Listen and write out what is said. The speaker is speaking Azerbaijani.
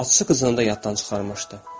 Bağçası qızını da yaddan çıxarmışdı.